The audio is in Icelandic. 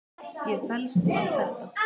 Ég fellst á þetta.